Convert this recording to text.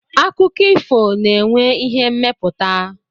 Akụkọ ifo na-enwe ihe mmepụta.